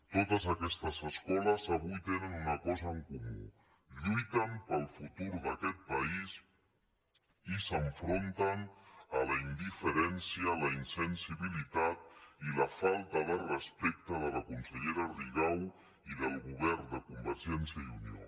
totes aquestes escoles avui tenen una cosa en comú lluiten pel futur d’aquest país i s’enfronten a la indiferència la insensibilitat i la falta de respecte de la consellera rigau i del govern de convergència i unió